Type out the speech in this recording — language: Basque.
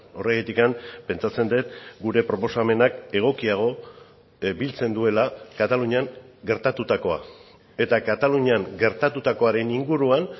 horregatik pentsatzen dut gure proposamenak egokiago biltzen duela katalunian gertatutakoa eta katalunian gertatutakoaren inguruan